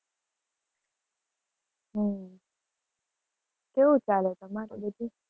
હમ કેવું ચાલે તમારે બીજું?